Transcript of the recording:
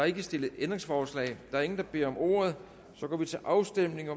ikke stillet ændringsforslag der er ingen der beder om ordet og så går vi til afstemning